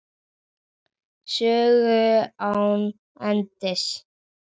Sögu án endis.